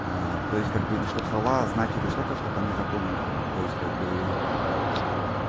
а то есть как бы и чтобы слова значили что-то чтобы они запомнили то есть как бы